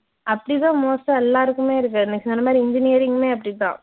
அப்படிதான் most ஆ எல்லாருக்குமே இருக்குத. நீங்கச் சொன்ன மாதிரி engineering மே அப்படிதான்